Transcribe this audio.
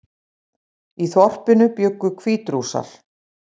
Í þorpinu bjuggu Hvítrússar